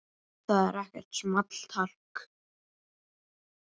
Það er ekkert small talk.